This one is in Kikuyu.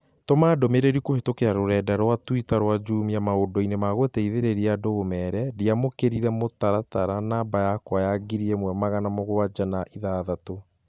Tũma ndũmĩrĩri kũhĩtũkĩra rũrenda rũa tũita rũa Jumia maũndũ-inĩ ma gũteithĩrĩria andũ ũmeere ndiamũkĩire mũtaratara namba yakwa ya ngiri ĩmwe magana mũgwanja na ithathatũ